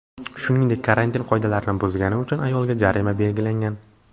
Shuningdek, karantin qoidalarini buzgani uchun ayolga jarimaga belgilangan.